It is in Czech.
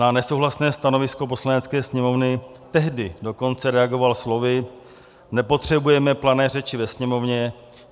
Na nesouhlasné stanovisko Poslanecké sněmovny tehdy dokonce reagoval slovy: "Nepotřebujeme plané řeči ve Sněmovně.